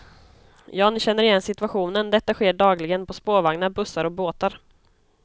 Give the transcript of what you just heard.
Ja, ni känner igen situationen, detta sker dagligen på spårvagnar, bussar och båtar.